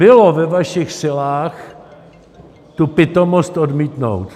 Bylo ve vašich silách tu pitomost odmítnout.